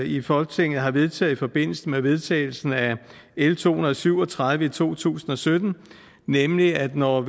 i folketinget har vedtaget i forbindelse med vedtagelsen af l to hundrede og syv og tredive i to tusind og sytten nemlig at når